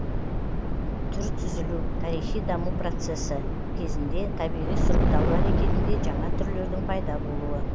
түр түзілу тарихи даму процессі кезінде табиғи сұрыпталу әрекетінде жаңа түрлердің пайда болуы